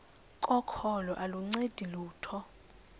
kokholo aluncedi lutho